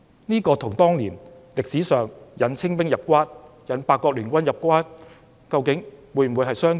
這是否與歷史上引清兵入關、引八國聯軍入關的做法相似？